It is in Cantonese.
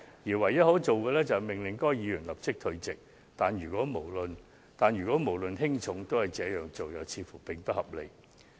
其唯一可做的，便是命令該議員立即退席，但如不論輕重皆這處理，卻似乎於理不合。